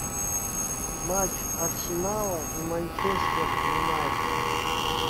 матч арсенала и манчестер юнайтед